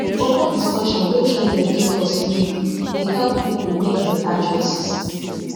open discussion wey trained educators lead dey help people make better choices